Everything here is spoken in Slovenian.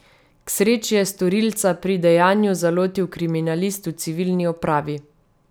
K sreči je storilca pri dejanju zalotil kriminalist v civilni opravi.